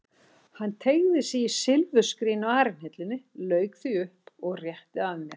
Hann teygði sig í silfurskrín á arinhillunni, lauk því upp og rétti að mér.